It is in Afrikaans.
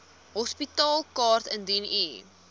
hospitaalkaart indien u